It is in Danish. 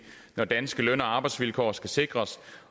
når danske løn og arbejdsvilkår skal sikres